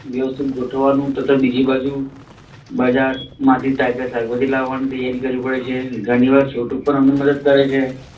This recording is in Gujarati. વ્યવસ્થિત ગોઠવવાનું તથા બીજી બાજુ બજાર માંથી તાજે તાજા શાકભાજી લાવવા ની તૈયારી કરવી પડે છે. ધણી વાર છોટુ પણ અમને મદદ કરે છે.